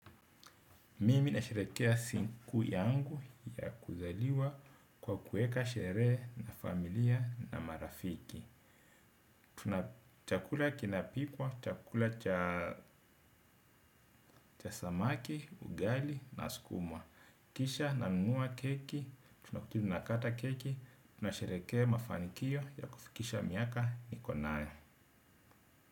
Mimi na sherehekea siku yangu ya kuzaliwa kwa kuweka sherehe na familia na marafiki. Tuna chakula kinapikwa, chakula cha samaki, ugali na skuma. Kisha na nunua keki, tunakuna kata keki, tunasherehekea mafanikio ya kufikisha miaka nikonayo.